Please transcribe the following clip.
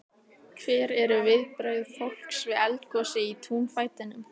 Hver eru viðbrögð fólks við eldgosi í túnfætinum?